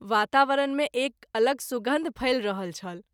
वातावरण मे एक अलग सुगन्ध फैल रहल छल।